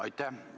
Aitäh!